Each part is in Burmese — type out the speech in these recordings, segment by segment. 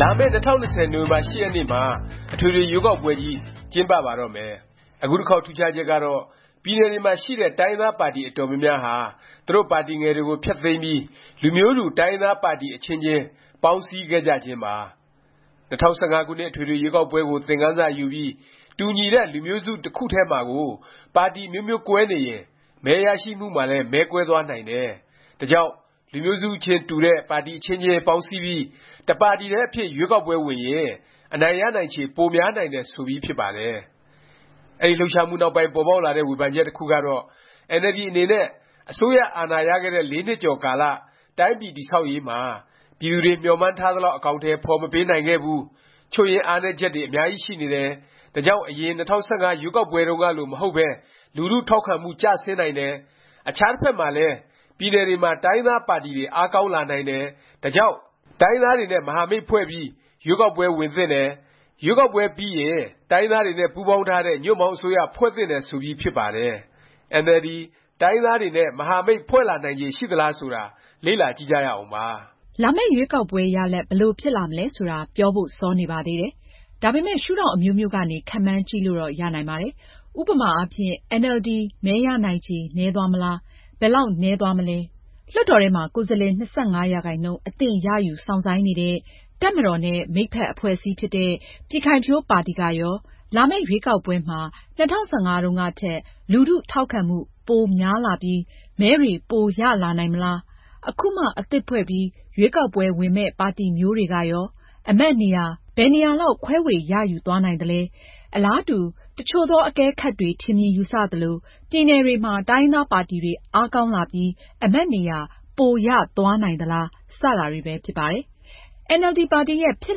လာမယ့် ၂၀၂၀ နိုဝင်ဘာ ၈ ရက်နေ့မှာ အထွေထွေ ရွေးကောက်ပွဲကြီး ကျင်းပ ပါတော့မယ်။ အခုတစ်ခေါက် ထူးခြားချက်ကတော့ ပြည်နယ်တွေမှာ ရှိတဲ့ တိုင်းရင်းသားပါတီ အတော်များများဟာ သူတို့ပါတီငယ်တွေကို ဖျက်သိမ်းပြီး လူမျိုးတူ တိုင်းရင်းသား ပါတီ အချင်းချင်း ပေါင်းစည်းခဲ့ကြခြင်းပါ။ ၂၀၁၅ ခုနှစ် အထွေထွေ ရွေးကောက်ပွဲကို သင်ခန်းစာယူပြီး တူညီတဲ့ လူမျိုးစု တစ်ခုထဲမှာကို ပါတီ အမျိုးမျိုးကွဲနေရင် မဲရရှိမှုမှာလည်း မဲကွဲသွားနိုင်တယ်၊ ဒါကြောင့် လူမျိုးစုချင်း တူတဲ့ ပါတီ အချင်းချင်း ပေါင်းစည်းပြီး တစ်ပါတီထဲ အဖြစ် ရွေးကောက်ပွဲဝင်ရင် အနိုင်ရနိုင်ချေ များပြီး ကိုယ်စားလှယ်တွေ ရွေးကောက်ခံရနိုင်ခြေ ရှိတယ် ဆိုပြီး ဖြစ်ပါတယ်။ အဲဒီလှုပ်ရှားမှုနောက်ပိုင်း ပေါ်ပေါက်လာတဲ့ ဝေဖန်ချက် တစ်ခုကတော့ အင်န်အယ်လ်ဒီ အနေနဲ့ အစိုးရ အာဏာရခဲ့တဲ့ ၄ နှစ်ကျော် ကာလ တိုင်းပြည် တည်ဆောက်ရေးမှာ ပြည်သူတွေ မျှော်မှန်းထားသလောက် အကောင်အထည် ဖော်မပေးနိုင်ခဲ့ဘူး၊ ချို့ယွင်းအားနည်းချက်တွေ အများကြီးရှိနေတယ်၊ ဒါကြောင့် အရင် ၂၀၁၅ ရွေးကောက်ပွဲတုန်းကလို မဟုတ်ပဲ လူထု ထောက်ခံမှု ကျဆင်းနိုင်တယ်၊ အခြား တစ်ဖက်မှာလည်း ပြည်နယ်တွေမှာ တိုင်းရင်းသားပါတီတွေ အားကောင်း လာနိုင်တယ်၊ ဒါကြောင့် တိုင်းရင်းသားတွေနဲ့ မဟာမိတ်ဖွဲ့ပြီး ရွေးကောက်ပွဲ ဝင်သင့်တယ်၊ ရွေးကောက်ပွဲ ပြီးရင် တိုင်းရင်းသားတွေနဲ့ ပူးပေါင်းထားတဲ့ ညွန့်ပေါင်း အစိုးရ ဖွဲ့သင့်တယ် ဆိုပြီး ဖြစ်ပါတယ်။ အင်န်အယ်လ်ဒီ တိုင်းရင်းသားတွေနဲ့ မဟာမိတ် ဖွဲ့လာနိုင်ချေ ရှိသလား ဆိုတာ လေ့လာကြည့်ကြရအောင်ပါ။ လာမယ့် ရွေးကောက်ပွဲ ရလာဒ် ဘယ်လို ဖြစ်လာမလဲ ဆိုတာ ပြောဖို့ စောနေပါသေးတယ်။ ဒါပေမယ့် ရှုဒေါင့် အမျိုးမျိုးကနေ ခန့်မှန်းကြည့်လို့တော့ ရနိုင်ပါတယ်။ ဥပမာအားဖြင့် အင်န်အယ်လ်ဒီ မဲရနိုင်ချေ နည်းသွားမလား၊ ဘယ်လောက် နည်းသွားမလဲ။ လွှတ်တော်ထဲမှာ ကိုယ်စားလှယ် ၂၅% အသင့်ရယူ စောင့်ဆိုင်းနေတဲ့ တပ်မတော်နဲ့ မိတ်ဖက် အဖွဲ့အစည်းဖြစ်တဲ့ ပြည်ခိုင်ဖြိုးပါတီ ကရော လာမယ့် ရွေးကောက်ပွဲမှာ ၂၀၁၅ တုန်းကထက် လူထု ထောက်ခံမှု ပိုများလာပြီး၊ မဲတွေ ပိုရလာနိုင်မလား၊ အခုမှ အသစ်ဖွဲ့ပြီး ရွေးကောက်ပွဲဝင်မယ့် ပါတီမျိုးတွေကရော အမတ်နေရာ ဘယ်နှစ်နေရာလောက် ခွဲေ၀ ရယူသွားနိုင်သလဲ၊ အလားတူ တစ်ချို့သော အကဲခတ်တွေ ထင်မြင်ယူဆ သလို ပြည်နယ်တွေမှာ တိုင်းရင်းသားပါတီတွေ အားကောင်းလာပြီး အမတ်နေရာ ပို ရသွားနိုင်သလား စတာတွေပဲ ဖြစ်ပါတယ်။ အင်န်အယ်လ်ဒီ ပါတီရဲ့ ဖြစ်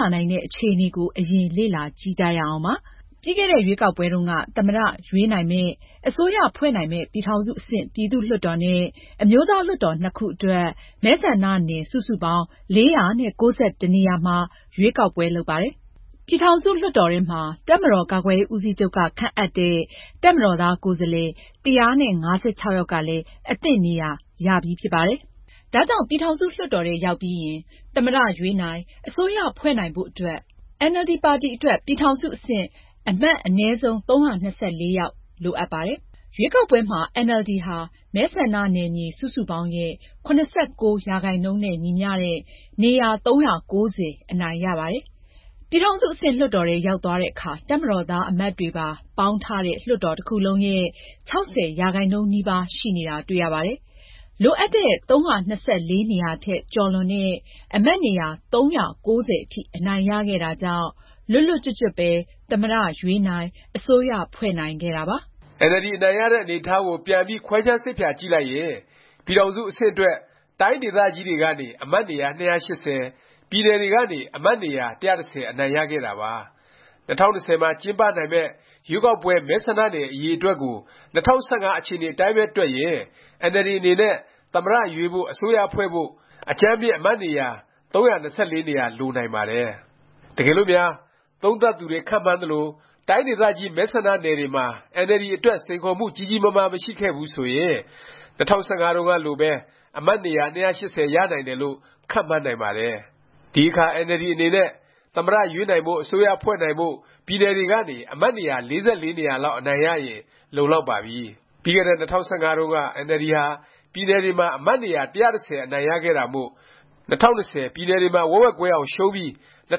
လာနိုင်တဲ့ အခြေအနေကို အရင် လေ့လာကြည့်ကြရအောင်ပါ။ ပြီးခဲ့တဲ့ ရွေးကောက်ပွဲတုန်းက သမ္မတ ရွေးနိုင်မယ့်၊ အစိုးရဖွဲ့နိုင်မယ့် ပြည်ထောင်စု အဆင့် ပြည်သူ့လွှတ်တော်နဲ့ အမျိုးသားလွှတ်တော် နှစ်ခုအတွက် မဲဆန္ဒနယ် စုစုပေါင်း ၄၉၁ နေရာမှာ ရွေးကောက်ပွဲ လုပ်ပါတယ်။ ပြည်ထောင်စု လွှတ်တော်ထဲမှာ တပ်မတော် ကာကွယ်ရေး ဦးစီးချုပ်က ခန့်အပ်တဲ့ တပ်မတော်သား ကိုယ်စားလှယ် ၁၅၆ ယောက်ကလည်း အသင့် နေရာရပြီး ဖြစ်ပါတယ်။ ဒါကြောင့် ပြည်ထောင်စု လွှတ်တော်ထဲ ရောက်ပြီးရင် သမ္မတ ရွေးနိုင်၊ အစိုးရဖွဲ့နိုင်ဖို့ အတွက် အင်န်အယ်လ်ဒီ ပါတီအတွက် ပြည်ထောင်စု အဆင့် အမတ် အနည်းဆုံး ၃၂၄ ယောက် လိုအပ်ပါတယ်။ ရွေးကောက်ပွဲမှာ အင်န်အယ်လ်ဒီ ဟာ မဲဆန္ဒနယ်မြေ စုစုပေါင်းရဲ့ ၇၉% နဲ့ ညီမျှတဲ့ နေရာ ၃၉၀ အနိုင်ရပါတယ်။ ပြည်ထောင်စု အဆင့် လွှတ်တော်ထဲ ရောက်သွားတဲ့အခါ တပ်မတော်သား အမတ်တွေပါ ပေါင်းထားတဲ့ လွှတ်တော်တစ်ခုလုံးရဲ့ ၆၀% နီးပါး ရှိနေတာ တွေ့ရပါတယ်။ လိုအပ်တဲ့ ၃၂၄ နေရာထက် ကျော်လွန်တဲ့ အမတ်နေရာ ၃၉၀ အထိ အနိုင်ရခဲ့တာကြောင့် လွတ်လွတ်ကျွတ်ကျွတ်ပဲ သမ္မတ ရွေးနိုင်၊ အစိုးရဖွဲ့နိုင်ခဲ့တာပါ။ အင်န်အယ်လ်ဒီ အနိုင်ရတဲ့ အနေအထားကို ပြန်ပြီး ခွဲခြမ်းစိတ်ဖြာကြည့်လိုက်ရင် ပြည်ထောင်စု အဆင့်အတွက် တိုင်းဒေသကြီးတွေကနေ အမတ် နေရာ ၂၈၀၊ ပြည်နယ်တွေကနေ အမတ်နေရာ ၁၁၀ အနိုင်ရခဲ့တာပါ။ ၂၀၂၀ မှာ ကျင်းပနိုင်မယ့် ရွေးကောက်ပွဲ မဲဆန္ဒနယ် အရေအတွက်ကို ၂၀၁၅ အခြေအနေ အတိုင်းပဲ တွက်ရင် အင်န်အယ်လ်ဒီ အနေနဲ့ သမ္မတ ရွေးဖို့၊ အစိုးရဖွဲ့ဖို့ အကြမ်းဖျဉ်း အမတ်နေရာ ၃၂၄ နေရာ လိုနိုင်ပါတယ်။ တကယ်လို့များ သုံးသပ်သူတွေ ခန့်မှန်းသလို တိုင်းဒေသကြီး မဲဆန္ဒနယ်တွေမှာ အင်န်အယ်လ်ဒီ အတွက် စိန်ခေါ်မှု ကြီးကြီးမားမား မရှိခဲ့ဘူး ဆိုရင် ၂၀၁၅ တုန်းကလိုပဲ အမတ်နေရာ ၂၈၀ ရနိုင်တယ် လို့ ခန့်မှန်းနိုင်ပါတယ်။ ဒီအခါ အင်န်အယ်လ်ဒီ အနေနဲ့ သမ္မတရွေးနိုင်ဖို့ အစိုးရဖွဲ့နိုင်ဖို့ ပြည်နယ်တွေကနေ အမတ်နေရာ ၄၄ နေရာ လောက် အနိုင်ရရင် လုံလောက်ပါပြီ။ ပြီးခဲ့တဲ့ ၂၀၁၅ တုန်းက အင်န်အယ်လ်ဒီ ဟာ ပြည်နယ်တွေမှာ အမတ်နေရာ ၁၁၀ အနိုင်ရခဲ့တာမို့ ၂၀၂၀ ပြည်နယ်တွေမှာ ဝက်ဝက်ကွဲအောင် ရှုံးပြီး ၂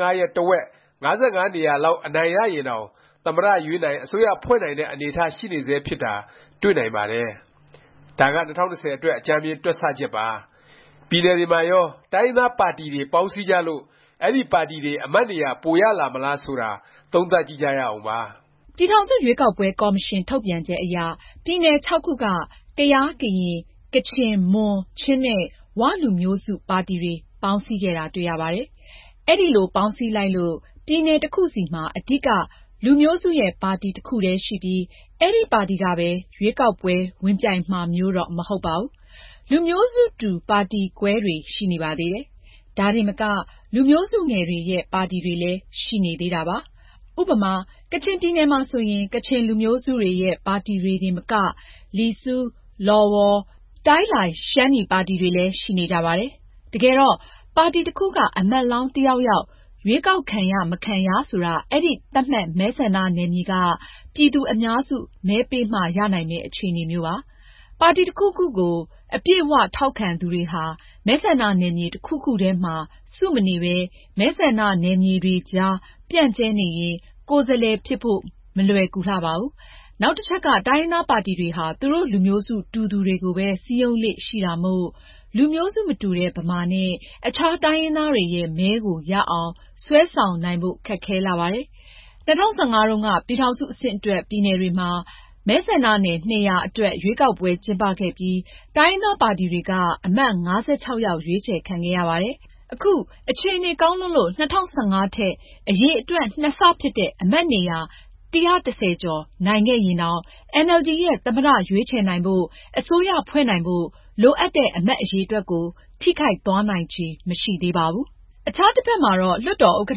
၀၁၅ ရဲ့ တစ်ဝက် ၅၅ နေရာလောက် အနိုင်ရရင်တောင် သမ္မတရွေးနိုင်၊ အစိုးရဖွဲ့နိုင်တဲ့ အနေအထား ရှိနေဆဲ ဖြစ်တာ တွေ့နိုင်ပါတယ်။ ဒါက ၂၀၂၀ အတွက် အကြမ်းဖျဉ်း တွက်ဆ ချက်ပါ။ ပြည်နယ်တွေမှာရော တိုင်းရင်းသားပါတီတွေ ပေါင်းစည်းကြလို့ အဲဒီပါတီတွေ အမတ်နေရာ ပိုရလာမှာလား ဆိုတာ သုံးသပ်ကြည့်ကြရအောင်။ ပြည်ထောင်စု ရွေးကောက်ပွဲ ကော်မရှင် ထုတ်ပြန်ချက်အရ ပြည်နယ် ခုက ကယား၊ ကရင်၊ ကချင်၊ မွန်၊ ချင်း နဲ့ ၀ လူမျိုးစု ပါတီတွေ ပေါင်းစည်းခဲ့တာ တွေ့ရပါတယ်။ အဲလို ပေါင်းစည်းလိုက်လို့ ပြည်နယ် တစ်ခုစီမှာ အဓိက လူမျိုးစုရဲ့ ပါတီ တစ်ခုတည်း ရှိပြီး အဲဒီပါတီကပဲ ရွေးကောက်ပွဲ ဝင်ပြိုင်မှာမျိုးတော့ မဟုတ်ပါဘူး။ လူမျိုးစုတူ ပါတီကွဲတွေ ရှိနေပါသေးတယ်။ ဒါတင်မက လူမျိုးစုငယ်တွေရဲ့ ပါတီတွေလည်း ရှိနေသေးတာပါ။ ဥပမာ ကချင်ပြည်နယ်မှာဆိုရင် ကချင်လူမျိုးစုတွေရဲ့ ပါတီတွေတင်မက လီဆူ၊ လော်ဝေါ်၊ တိုင်းလိုင် ပါတီတွေလည်း ရှိနေကြပါတယ်။ တကယ်တော့ ပါတီတစ်ခုက အမတ်လောင်း တစ်ယောက်ယောက် ရွေးကောက်ခံရ မခံရ ဆိုတာ အဲဒီ သတ်မှတ် မဲဆန္ဒနယ်မြေက ပြည်သူ အများစု မဲပေးမှ ရနိုင်မယ့် အခြေအနေမျိုးပါ။ ပါတီ တစ်ခုခုကို အပြည့်အ၀ ထောက်ခံသူတွေဟာ မဲဆန္ဒနယ်မြေ တစ်ခုခုထဲမှာ စု မနေပဲ မဲဆန္ဒနယ်မြေတွေကြား ပြန့်ကြဲနေရင် ကိုယ်စားလှယ် ဖြစ်ဖို့ မလွယ်ကူလှပါဘူး။ နောက်တစ်ချက်က တိုင်းရင်းသားပါတီတွေဟာ သူတို့ လူမျိုးစု တူသူတွေကိုပဲ စည်းရုံးလေ့ ရှိတာမို့ လူမျိုးစု မတူတဲ့ ဗမာနဲ့ အခြား တိုင်းရင်းသားတွေရဲ့ မဲကို ရအောင် ဆွဲဆောင်နိုင်ဖို့ ခက်ခဲလှပါတယ်။ ၂၀၁၅ တုန်းက ပြည်ထောင်စု အဆင့်အတွက် ပြည်နယ်တွေမှာ မဲဆန္ဒနယ် ၂၀၀ အတွက် ရွေးကောက်ပွဲ ကျင်းပခဲ့ပြီး တိုင်းရင်းသားပါတီတွေက အမတ် ၅၆ ယောက် ရွေးချယ် ခံခဲ့ရပါတယ်။ အခု အခြေအနေ ကောင်းလွန်းလို့ ၂၀၁၅ ထက် အရေအတွက် ၂ ဆ ဖြစ်တဲ့ အမတ်နေရာ ၁၁၀ ကျော် နိုင်ခဲ့ရင်တောင် အင်န်အယ်လ်ဒီ ရဲ့ သမ္မတ ရွေးချယ်နိုင်ဖို့၊ အစိုးရဖွဲ့နိုင်ဖို့ လိုအပ်တဲ့ အမတ်အရေတွက်ကို ထိခိုက်သွားနိုင်ခြေ မရှိသေးပါဘူး။ အခြားတစ်ဖက်မှာတော့ လွှတ်တော်ဥက္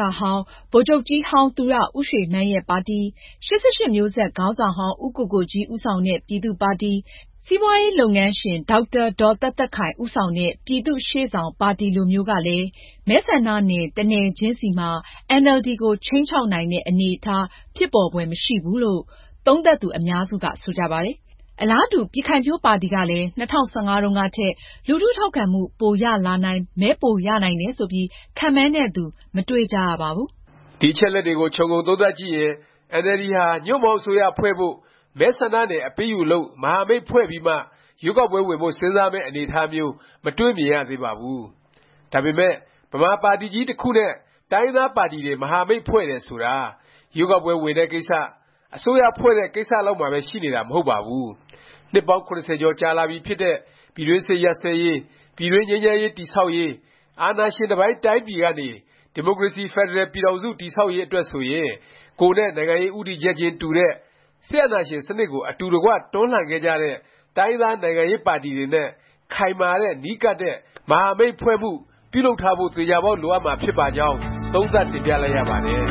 ကဌဟောင်း၊ ဗိုလ်ချုပ်ကြီးဟောင်း သူရဦးရွှေမန်းရဲ့ ပါတီ၊ ၈၈မျိုးဆက် ခေါင်းဆောင်ဟောင်း ဦးကိုကိုကြီး ဦးဆောင်တဲ့ ပြည်သူ့ပါတီ၊ စီးပွားရေး လုပ်ငန်းရှင် ဒေါက်တာ ဒေါ်သက်သက်ခိုင် ဦးဆောင်တဲ့ ပြည်သူ့ရှေ့ဆောင်ပါတီ လိုမျိုးကလည်း မဲဆန္ဒနယ် တစ်နယ်ချင်းစီမှာ အင်န်အယ်လ်ဒီကို ခြိမ်းခြောက်နိုင်တဲ့ အနေအထား ဖြစ်ပေါ်ဖွယ် မရှိဘူးလို့ သုံးသပ်သူ အများစုက ဆိုကြပါတယ်။ အလားတူ ပြည်ခိုင်ဖြိုးပါတီကလည်း ၂၀၁၅ တုန်းကထက် လူထု ထောက်ခံမှု ပိုရလာနိုင်၊ မဲပိုရနိုင်တယ် ဆိုပြီး ခန့်မှန်းတဲ့သူ မတွေ့ကြရပါဘူး။ ဒီအချက်အလက်တွေကို ခြုံငုံသုံးသပ်ကြည့်ရင် အင်န်အယ်လ်ဒီဟာ ညွှန့်ပေါင်းအစိုးရ ဖွဲ့ဖို့၊ မဲဆန္ဒနယ် အပေးအယူလုပ်၊ မဟာမိတ်ဖွဲ့ပြီးမှ ရွေးကောက်ပွဲဝင်ဖို့ စဉ်းစားမယ့် အနေအထားမျိုး မတွေ့မြင်ရသေးပါဘူး။ ဒါပေမယ့် ဗမာပါတီကြီး တစ်ခုနဲ့ တိုင်းရင်းသားပါတီတွေ မဟာမိတ်ဖွဲ့တယ် ဆိုတာ ရွေးကောက်ပွဲ ဝင်တဲ့ကိစ္စ၊ အစိုးရဖွဲ့တဲ့ ကိစ္စ လောက်မှာပဲ ရှိနေတာ မဟုတ်ပါဘူး။ နှစ်ပေါင်း ၇၀ ကျော်ကြာလာပြီ ဖြစ်တဲ့ ပြည်တွင်းစစ် ရပ်စဲရေး၊ ပြည်တွင်း ငြိမ်းချမ်းရေး တည်ဆောက်ရေး၊ အာဏာရှင်တစ်ပိုင်း တိုင်းပြည်ကနေ ဒီမိုကရေစီ ဖက်ဒရယ် ပြည်ထောင်စု တည်ဆောက်ရေး အတွက်ဆိုရင် ကိုယ်နဲ့ နိုင်ငံရေး ဦးတည်ချက်ခြင်း တူတဲ့၊ စစ်အာဏာရှင် စနစ်ကို အတူတကွ တွန်းလှန်ခဲ့ကြတဲ့ တိုင်းရင်းသား နိုင်ငံရေးပါတီတွေနဲ့ ခိုင်မာတဲ့ နီးကပ်တဲ့ မဟာမိတ်ဖွဲ့မှု ပြုလုပ်ထားဖို့ သေခြာပေါက် လိုအပ်မှာ ဖြစ်ပါကြောင်း သုံးသပ်တင်ပြလိုက်ရပါတယ်။